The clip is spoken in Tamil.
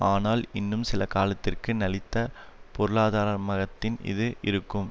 ஆனால் இன்னும் சில காலத்திற்கு நலித்த பொருளாதாரமகத்தின் இது இருக்கும்